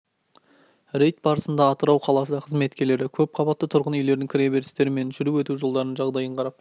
рейд барысында атырау қаласы қызметкерлері көпқабатты тұрғын үйлердің кіре берістері мен жүріп өту жолдарының жағдайын қарап